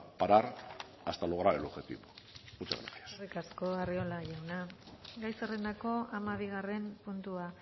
parar hasta lograr el objetivo muchas gracias eskerrik asko arriola jauna gai zerrendako hamabigarren puntua